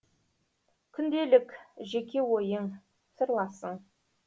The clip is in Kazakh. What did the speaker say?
күнделік жеке ойың сырласың